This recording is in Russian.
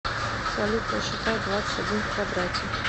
салют посчитай двадцать один в квадрате